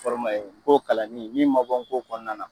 Fɔrɔ ma ɲe ngo kalanni yi ma bɔ ngo kɔnɔna na